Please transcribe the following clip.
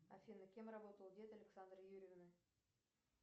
афина кем работал дед александры юрьевны